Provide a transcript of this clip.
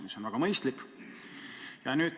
See on väga mõistlik.